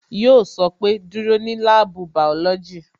Yo sọ pé "Dúró ní láàbù bàọ́lọ́jì"